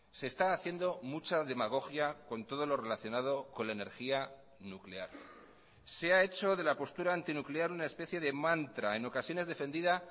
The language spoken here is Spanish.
se está haciendo mucha demagogia con todo lo relacionado con la energía nuclear se ha hecho de la postura antinuclear una especie de mantra en ocasiones defendida